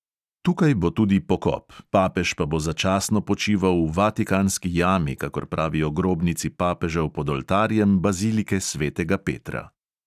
Tukaj bo tudi pokop, papež pa bo začasno počival v vatikanski jami, kakor pravijo grobnici papežev pod oltarjem bazilike svetega petra.